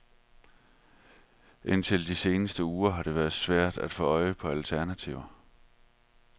Indtil de seneste uger har det været svært at få øje på alternativer.